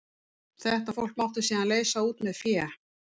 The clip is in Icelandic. Þetta fólk mátti síðan leysa út með fé.